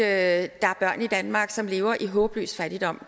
at der er børn i danmark som lever i håbløs fattigdom